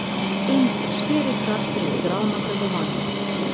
In si štirikrat priigral napredovanje.